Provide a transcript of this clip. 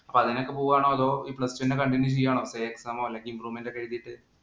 അപ്പൊ അതിനൊക്കെ പോവാണോ? അതോ ഈ Plus two തന്നെ continue ചെയ്യാണോ say exam ഓ, അല്ലെങ്കില്‍ improvement ഒക്കെ എഴുതീട്ട്.